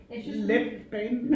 Letbanen